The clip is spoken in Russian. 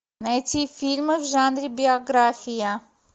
найти фильмы в жанре биография